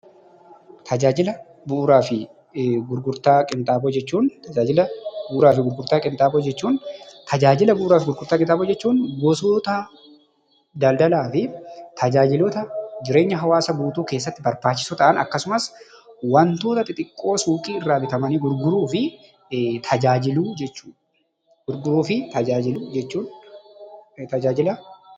Tajaajila bu'uuraa fi gurgurtaa qinxaaboo jechuun gosoota daldalaa fi tajaajila jireenya hawaasaa guutuu keessatti barbaachisoo ta'an akkasumas wantoota xixiqqoo suuqii irraa bitamanii gurguraman, gurguruu fi tajaajiluu jechuudha.